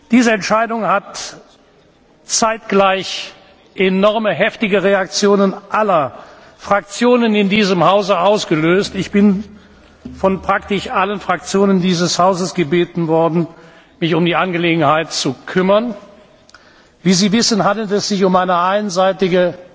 Diese Entscheidung hat zeitgleich sehr heftige Reaktionen aller Fraktionen in diesem Hause ausgelöst. Ich bin von praktisch allen Fraktionen dieses Hauses gebeten worden, mich um die Angelegenheit zu kümmern. Wie Sie wissen, handelt es sich um eine einseitige